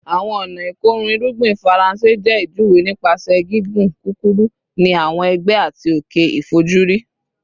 Awọn ọna ikorun irugbin Faranse jẹ ijuwe nipasẹ gigun kukuru ni awọn ẹgbẹ ati oke ifojuri